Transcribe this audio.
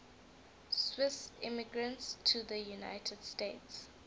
swiss immigrants to the united states